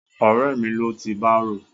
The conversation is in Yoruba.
Ọ̀rẹ́ mi ló ti bárò.